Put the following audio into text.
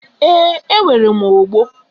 Ee, nwere m ogbo.